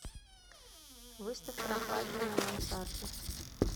выставь прохладнее на мансарде